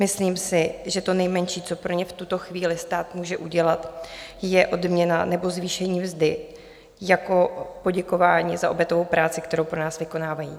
Myslím si, že to nejmenší, co pro ně v tuto chvíli stát může udělat, je odměna nebo zvýšení mzdy jako poděkování za obětavou práci, kterou pro nás vykonávají.